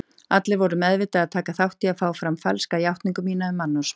Allir voru meðvitað að taka þátt í að fá fram falska játningu mína um mannsmorð.